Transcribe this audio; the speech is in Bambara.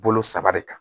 Bolo saba de kan